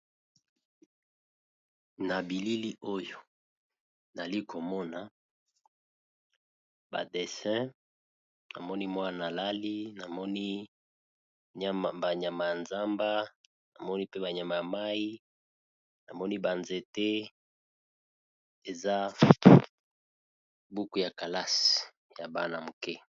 na bilili oyo nali komona badessin namoni banyama ya zamba namoni pe banyama ya mai namoni banzete eza buku ya kalasi ya bana muke